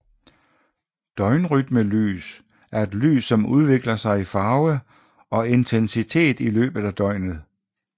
Døgnrytmelys er et lys som udvikler sig i farve og intensitet i løbet af døgnet